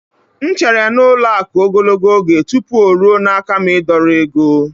M chere n'ụlọ akụ̀ ogologo oge tupu o ruo n'aka m ịdọrọ ego.